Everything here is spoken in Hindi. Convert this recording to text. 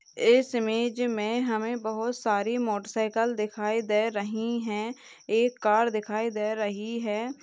इस इमेज में हमें बहुत सारी मोटर साइकिल दिखाई दे रही है एक कार दिखाई दे रही है।